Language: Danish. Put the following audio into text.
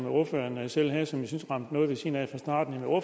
ordføreren selv havde som jeg synes ramte noget ved siden af